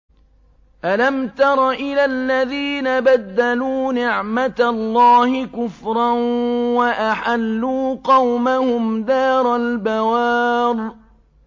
۞ أَلَمْ تَرَ إِلَى الَّذِينَ بَدَّلُوا نِعْمَتَ اللَّهِ كُفْرًا وَأَحَلُّوا قَوْمَهُمْ دَارَ الْبَوَارِ